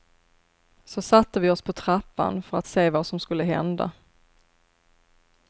Så satte vi oss på trappan för att se vad som skulle hända.